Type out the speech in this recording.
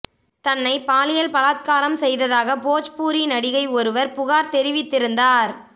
தன்னைப் பாலியல் பலாத்காரம் செய்ததாக போஜ்பூரி நடிகை ஒருவர் புகார் தெரிவித்திருந்தார்